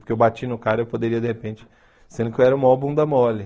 Porque eu bati no cara, eu poderia, de repente... Sendo que eu era o maior bunda mole.